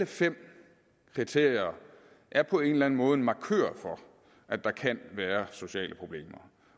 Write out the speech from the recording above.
fem kriterier er på en eller anden måde en markør for at der kan være sociale problemer